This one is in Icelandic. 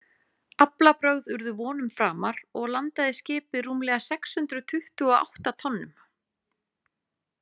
Aflabrögð urðu vonum framar og landaði skipið rúmlega sex hundruð tuttugu og átta tonnum.